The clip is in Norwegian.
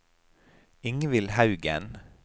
Ingvill Haugen